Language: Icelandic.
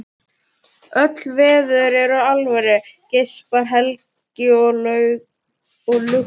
Öll veður eru alvöru, geispar Helgi með lukt augu.